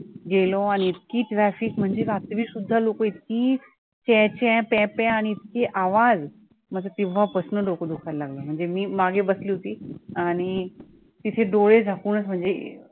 गेलो आणि इतकी traffic म्हणजे रात्री सुद्धा लोकं इतकी च्यां च्यां प्यां प्यां आणि इतके आवाज माझं तेव्हा पासनं डोकं दुखायला लागलं म्हणजे मी मागे बसली होती आणि तिथे डोळे झाकूनचं म्हणजे